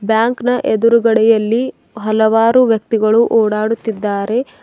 Bank ನ ಎದುರುಗಡೆಯಲ್ಲಿ ಹಲವಾರು ವ್ಯಕ್ತಿಗಳು ಓಡಾಡುತ್ತಿದ್ದಾರೆ.